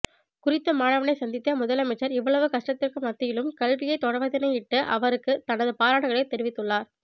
குறித்த மாணவனை சந்தித்த முதலமைச்சர் இவ்வளவு கஷ்டத்திற்கு மத்தியிலும் கல்வியை தொடர்வதனையிட்டு அவருக்கு தனது பாராட்டுக்களை தெரிவித்துள்ளார்